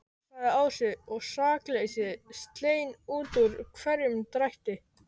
sagði Ási, og sakleysið skein út úr hverjum drætti.